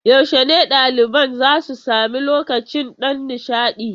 Yaushe ne ɗaliban za su sami lokacin ɗan nishaɗi?